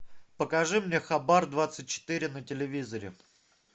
покажи мне хабар двадцать четыре на телевизоре